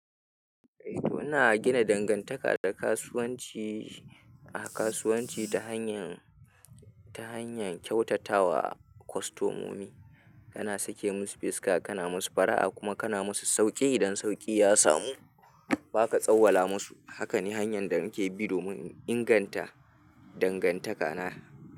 Eh to ina gina dangantaka da kasuwanci, a kasuwanci ta hanyan, ta hanyar kyautatawa kwastomomi. Kana sake musu fuska kana musu fara'a kuma kana musu sauƙi idan sauƙi ya samu baka tsawwala musu. Haka ne hanyar da muke bi domin inganta dangantaka na.